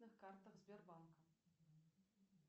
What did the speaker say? картах сбербанка